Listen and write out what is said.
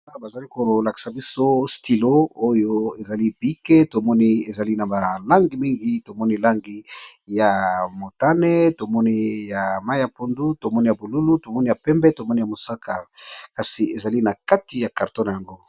Awa bazalikolakisa biso stylo eza na balangi mingi tomoni langi ya motani ,ya pondu, bonzinga na pembe, mosaka kasi ezali na kati ya carton nayango.